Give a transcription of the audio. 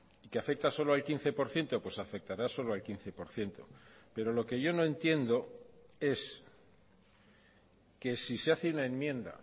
y que afecta solo al quince por ciento pues afectará solo al quince por ciento pero lo que yo no entiendo es que si se hace una enmienda